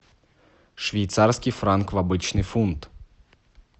швейцарский франк в обычный фунт